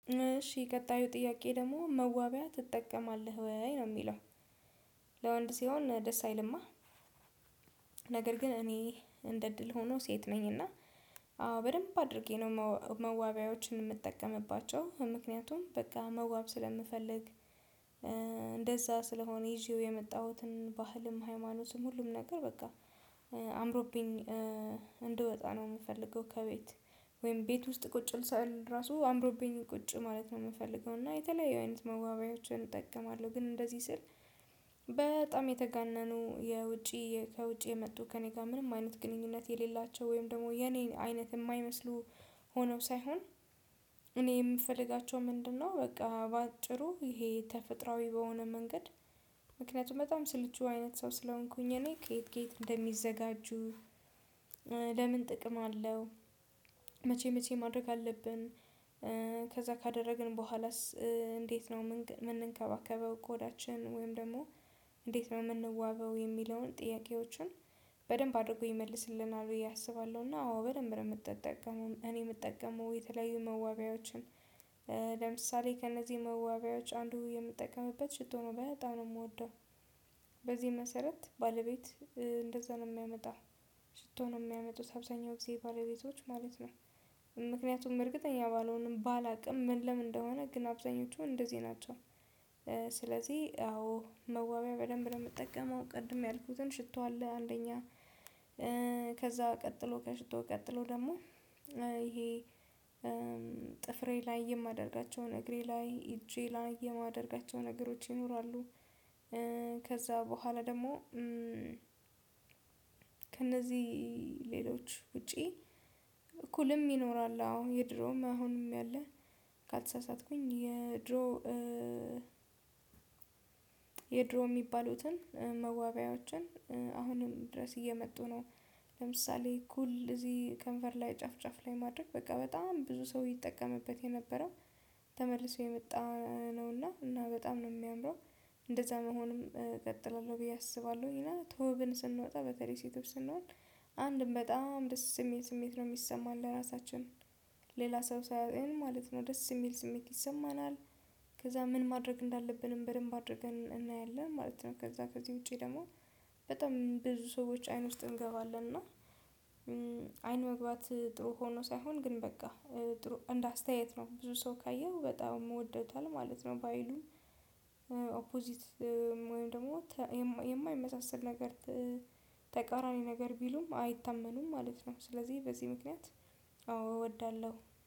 እሺ ቀጣዩ ጥያቄ ደግሞ መዋቢያ ትጠቀማለህ ወይ? ነው የሚለው ለወንድ ሲሆን ደስ አይልማ? ነገር ግን እኔ እንደ እድል ሆኖ ሴት ነኝ እና አዎ በደንብ አድርጌ ነው መዋቢያዎችን የምጠቀምባቸው ምክንያቱም በቃ መዋብ ስለምፈልግ እንደዛ ስለሆነ ይዤው የመጣሁትን ባህልም ሃይማኖትም ሁሉም ነገር በቃ አምሮብኝ እንድወጣ ነው የምፈልገው ከቤት ወይም ቤት ውስጥ ቁጭ ስል ራሱ አምሮብኝ ቁጭ ማለት ነው የምፈልገው እና የተለያዩ አይነት መዋቢያዎችን እጠቀማለሁ ግን እንደዚህ ስል በጣም የተጋነኑ የውጪ ከውጪ የመጡ ከእኔ ጋር ምንም አይነት ግንኙነት የሌላቸው ወይም ደግሞ የኔ አይነት የማይመስሉ ሆነው ሳይሆን እኔ የምፈልጋቸው ምንድነው በቃ በአጭሩ ይሄ ተፈጥሮአዊ በሆነ መንገድ ምክንያቱም በጣም ስልቹ አይነት ሰው ስለሆንኩኝ እኔ ከየት ከየት እንደሚዘጋጁ ለምን ጥቅም አለው? መቼ መቼ ማድረግ አለብን? ከዛ ካደረግን በኋላስ እንዴት ነው የምንከባከበው? ቆዳችን ወይም ደግሞ እንዴት ነው የምንዋበው የሚለውን ጥያቄዎችን በደንብ አድርጎ ይመልስልናል ብዬ አስባለሁና አዎ በደንብ ነው የምጠቀመው እኔ የምጠቀመው የተለያዩ መዋቢያዎችን ለምሳሌ ከእነዚህ መዋቢያዎች አንዱ የምጠቀምበት ሽቶ ነው በጣም ነው የምወደው በዚህም መሰረት ባለቤት እንደዛ ነው የሚያመጣው ሽቶ ነው የሚያመጡት አብዛኛው ጊዜ ባለቤቶች ማለት ነው ምክንያቱም እርግጠኛ ባልሆንም ባላውቅም ምንለምን እንደሆነ ግን አብዛኞቹ እንደዚህ ናቸው ስለዚህ አዎ መዋቢያ በደንብ ነው የምጠቀመው ቅድም ያልኩትን ሽቶ አለ አንደኛ ከዛ ቀጥሎ ከሽቶ ቀጥሎ ደግሞ ይሄ ጥፍሬ ላይ የማደርጋቸውን እግሬ ላይ እጄ ላይ የማደርጋቸው ነገሮች ይኖራሉ ከዛ በኋላ ደግሞ ከእነዚህ ሌሎች ውጪ ኩልም ይኖራል አዎ የድሮም አሁንም ያለ ካልተሳሳትኩኝ የድሮ የድሮ የሚባሉትን መዋቢያዎችን አሁንም ድረስ እየመጡ ነው ለምሳሌ ኩል እዚህ ከንፈር ላይ ጫፍ ጫፍ ላይ ማድረግ በቃ በጣም ብዙ ሰው ይጠቀምበት የነበረው ተመልሶ የመጣ ነውና እና በጣም ነው የሚያምረው እንደዛ መሆንም እቀጥላለሁ ብዬ አስባለሁኝ እና ተውበን ስንወጣ በተለይ ሴቶች ስንሆን አንድም በጣም ደስ የሚል ስሜት ነው የሚሰማን ለራሳችን ሌላ ሰው ሲያየን ማለት ነው ደስ የሚል ስሜት ይሰማናል ከዛ ምን ማድረግ እንዳለብንም በደንብ አድርገን እናያለን ማለት ነው ከዛ ከዚህ ውጪ ደግሞ በጣም ብዙ ሰዎች አይን ውስጥ እንገባለን እና አይን መግባት ጥሩ ሆኖ ሳይሆን ግን በቃ እንደ አስተያየት ነው ብዙ ሰው ካየው በጣም ወደውታል ማለት ነው ባይሉን ኦፖዚት ወይም ደግሞ የማይመሳሰል ነገር ተቃራኒ ነገር ቢሉም አይታመኑም ማለት ነው ስለዚህ በዚህ ምክንያት አዎ እወዳለሁ